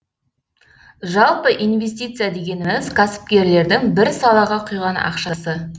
жалпы инвестиция дегеніміз кәсіпкерлердің бір салаға құйған ақшасы